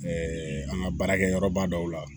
Ɛɛ an ka baarakɛyɔrɔba dɔw la